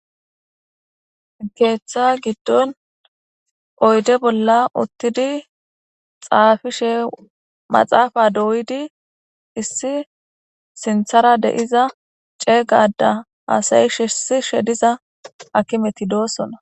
keeththa giddon oyde bolla uttidi xaafishe maxaafa dooydi issi sinthara deiza ceegada aasayi shisishe diza akimeti doossona.